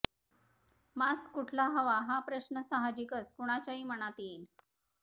mask कुठला हवा हा प्रश्न साहजिकच कुणाच्याही मनात येईल